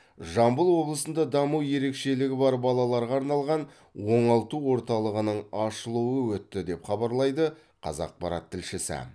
жамбыл облысында даму ерекшелігі бар балаларға арналған оңалту орталығының ашылуы өтті деп хабарлайды қазақпарат тілшісі